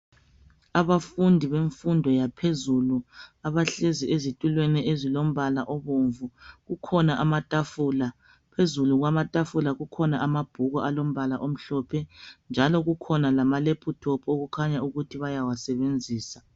Abafundi bemfundo yaphezulu abahlezi ezitulweni ezilombala obomvu, kukhona amatafula, phezulu kwamatafula kukhona amabhuku alombala omhlophe, njalo kukhona lamalephuthophu okukhanya ukuthi bayawasebenzisa